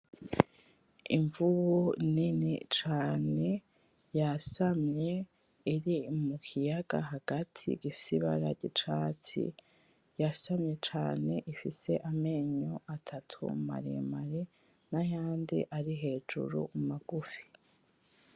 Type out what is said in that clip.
Imvubu nini cane yasamye iri mu kiyaga hagati gifise ibara ry'icatsi yasamye cane ifise amenyo atatu maremare nayandi ari hejuru magufi.